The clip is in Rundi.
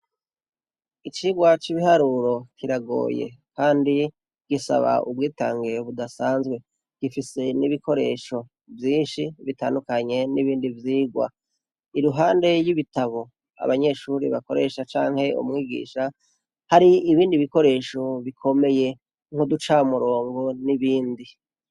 Icigwa c' ibiharuro kiragoye kandi gisaba ubwitange budasanzwe, gifise n’ibikoresho vyinshi bitandukanye n' ibindi vyigwa, iruhande y' ibitabo abanyeshure bakoresha canke umwigisha , hari ibindi ibikoresho bikomeye nkuducamurongo n' ibindi.